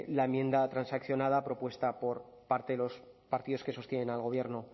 la enmienda transaccionada propuesta por parte de los partidos que sostienen al gobierno